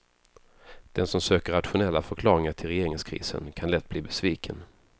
Den som söker rationella förklaringar till regeringskrisen kan lätt bli besviken.